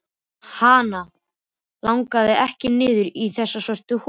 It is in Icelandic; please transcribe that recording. Hana langaði ekki niður í þessa svörtu holu.